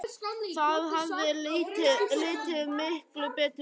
Það hefði litið miklu betur út.